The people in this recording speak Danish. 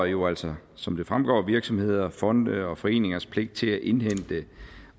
jo altså som det fremgår vedrører virksomheder fonde og foreningers pligt til at indhente